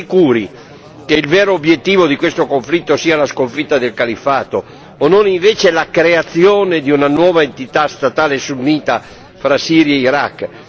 Siamo sicuri che il vero obiettivo confine di questo conflitto sia la sconfitta del Califfato o non invece la creazione di una nuova entità statale sunnita fra Siria e Iraq?